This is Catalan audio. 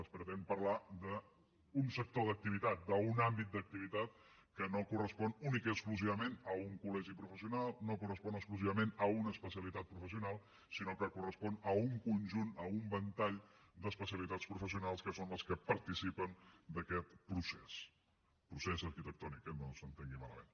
es pretén parlar d’un sector d’activitat d’un àmbit d’activitat que no correspon únicament i exclusivament a un col·legi professional no correspon exclusivament a una especialitat professional sinó que correspon a un conjunt a un ventall d’especialitats professionals que són les que participen d’aquest procés procés arquitectònic eh no s’entengui malament